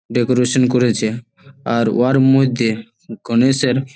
Decoration করেছে আর warm with দিয়ে গনেশের।